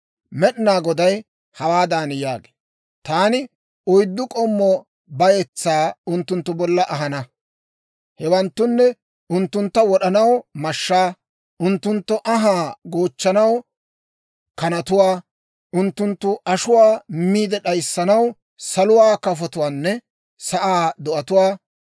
Med'inaa Goday hawaadan yaagee; «Taani oyddu k'ommo bayetsaa unttunttu bolla ahana; hewanttunne, unttuntta wod'anaw mashshaa, unttunttu anhaa goochchanaw kanatuwaa, unttunttu ashuwaa miide d'ayissanaw saluwaa kafotuwaanne sa'aa do'atuwaa.